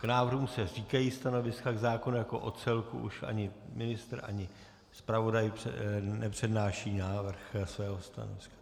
K návrhu se říkají stanoviska, k zákonu jako celku už ani ministr, ani zpravodaj nepřednáší návrh svého stanoviska.